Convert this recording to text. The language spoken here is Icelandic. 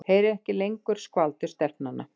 Heyri ekki lengur skvaldur stelpnanna.